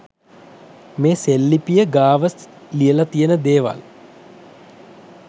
මේ සෙල් ලිපිය ගාව ලියල තියන දේවල්